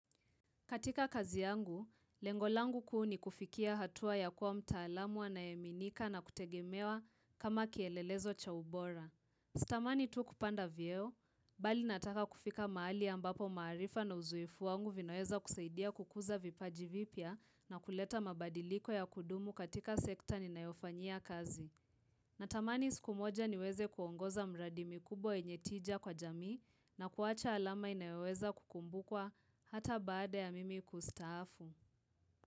Katika kazi yangu, lengo langu kuu nikufikia hatua ya kuwa mtaalamu anayeaminika na kutegemewa kama kielelezo cha ubora. Sitamani tu kupanda vyeo, bali nataka kufika mahali ambapo maarifa na uzoefu wangu vinaweza kusaidia kukuza vipaji vipya na kuleta mabadiliko ya kudumu katika sekta ninayofanyia kazi. Natamani siku moja niweze kuongoza mradi mikubwa yenye tija kwa jamii na kuwacha alama inayoweza kukumbukwa hata baada ya mimi kustaafu.